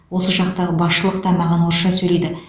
осы жақтағы басшылық та маған орысша сөйлейді